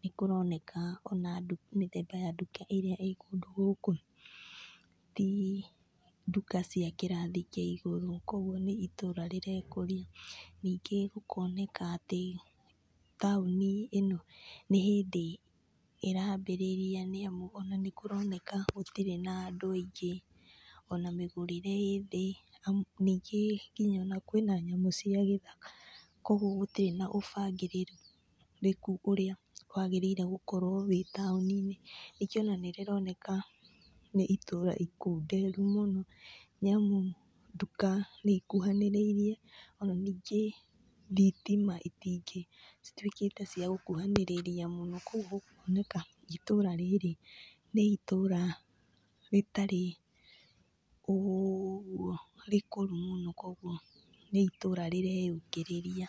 nĩ kũroneka ona mĩthemba ya nduka ĩrĩa i kũndũ gũkũ ti nduka cia kĩrathi kĩa igũru. Koguo nĩ itũũra rĩrekũria. Ningĩ gũkoneka atĩ taũni ĩno nĩ hĩndĩ ĩrambĩrĩria nĩ amu, ona nĩ kũroneka gũtirĩ na andũ aingĩ ona mĩgurĩre ĩ thĩ. Ningī nginya ona kwĩna nyamũ cia gĩthaka. Kogũũo gũtirĩ na ũbangĩrĩrĩku ũrĩa wagĩrĩre gũkorwo wĩ taũni-inĩ. Ningĩ ona nĩ rĩroneka nĩ itũũra ikunderu mũno, nĩ amũ nduka nĩ ikuhanĩrĩrie, ona ningĩ thitima itingĩ citũĩkĩte cia gũkuhanĩrĩria mũno. Kũguo gũkoneka itũũra rĩrĩ nĩ itũũra rĩtarĩ ũgũo rĩkũrũ mũno, koguo nĩ itũũra rĩreyũkĩrĩria.